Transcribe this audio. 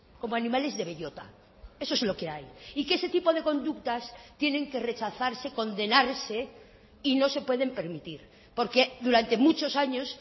como animales de bellota eso es lo que hay y que ese tipo de conductas tienen que rechazarse condenarse y no se pueden permitir porque durante muchos años